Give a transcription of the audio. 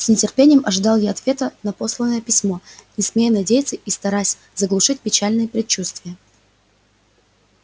с нетерпением ожидал я ответа на посланное письмо не смея надеяться и стараясь заглушить печальные предчувствия